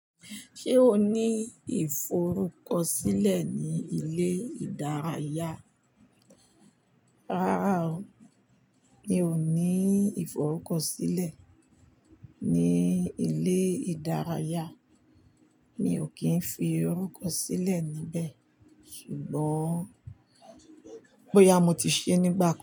Ṣé o ní ìforúkọsílẹ̀ ní ilé ìdárayá? Rárá o, mi ò ní ìforúkọsílẹ̀ ní ilé ìdárayá. Mi ò kí ń fi orúkọ sílẹ̀ níbẹ̀, ṣùgbọ́n bóyá mo ti ṣe nígbà kan.